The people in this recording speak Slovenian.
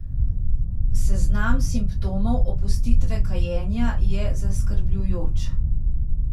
Seznam simptomov opustitve kajenja je zaskrbljujoč.